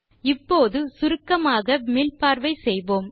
இப்போது சுருக்கமாக மீள்பார்வை செய்யலாம்